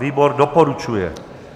Výbor doporučuje.